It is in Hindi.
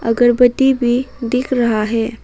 अगरबत्ती भी दिख रहा है।